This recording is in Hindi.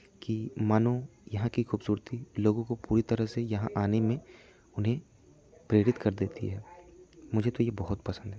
की मानो यहाँ की खूबसूरती लोगों को पूरी तरह से यहाँ आने में उन्हें प्रेरित कर देती है मुझे तो ये बहुत पसंद है।